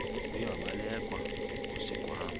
uye wabelekwa ngusigwamba